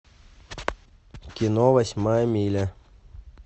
кино восьмая миля